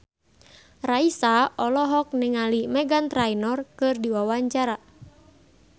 Raisa olohok ningali Meghan Trainor keur diwawancara